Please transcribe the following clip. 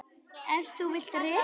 Ef þú vilt reka mig?